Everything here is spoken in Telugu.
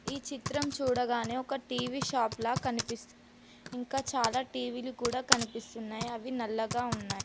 ఈ చిత్రం చూడగానే ఒక టీ వీ షాప్ లా కనిపిస్త్ ఇంకా చాలా టీ వీ లు కూడా కనిపిస్తున్నాయి అవి నల్లగా ఉన్నాయ్.